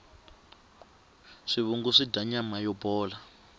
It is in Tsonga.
swivungu swidya nama yo bola